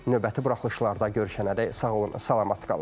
Növbəti buraxılışlarda görüşənədək sağ olun, salamat qalın.